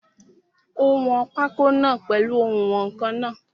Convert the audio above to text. Ó wọn pákó náà pèlu oùnwọ̀nkan náà.